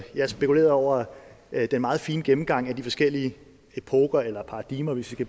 jeg spekulerede over den meget fine gennemgang af de forskellige i epoker eller paradigmer hvis vi